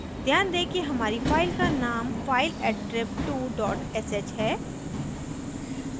ध्यान दें कि हमारी file का name fileattrib2 dot sh है